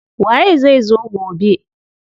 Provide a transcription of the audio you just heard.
Waye zai zo gobe?